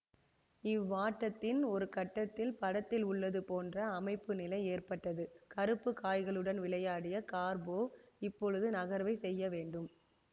இவ்வாட்டத்தின் ஒருகட்டத்தில் படத்தில் உள்ளது போன்ற அமைப்புநிலை ஏற்பட்டது கருப்பு காய்களுடன் விளையாடிய கார்போவ் இப்பொழுது நகர்வை செய்யவேண்டும்